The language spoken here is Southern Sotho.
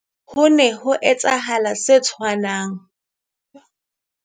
Ho ne ho etsahale se tshwanang